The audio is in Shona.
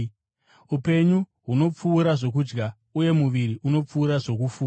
Upenyu hunopfuura zvokudya, uye muviri unopfuura zvokufuka.